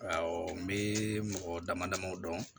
Awɔ n bɛ mɔgɔ damadamaw dɔn